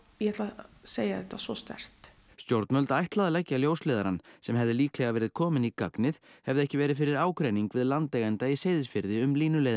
ég ætla að segja þetta svo sterkt stjórnvöld ætla að leggja ljósleiðarann sem hefði líklega verið kominn í gagnið hefði ekki verið fyrir ágreining við landeiganda í Seyðisfirði um